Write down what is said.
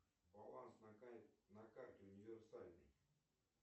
баланс на карте универсальной